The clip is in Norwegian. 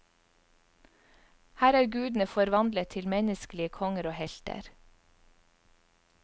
Her er gudene forvandlet til menneskelige konger og helter.